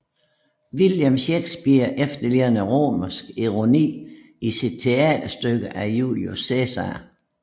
William Shakespeare efterligner romersk ironi i sit teaterstykke Julius Cæsar